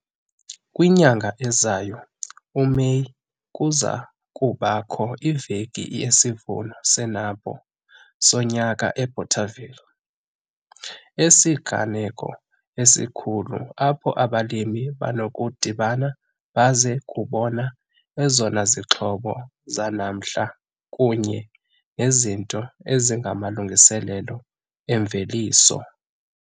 Kwinyanga ezayo, uMeyi, kuza kubakho iVeki yesiVuno seNampo sonyaka eBothaville. Esi sisiganeko esikhulu apho abalimi banokudibana baze kubona ezona zixhobo zanamhla kunye nezinto ezingamalungiselelo emveliso.